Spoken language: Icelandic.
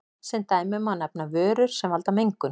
Sem dæmi má nefna vörur sem valda mengun.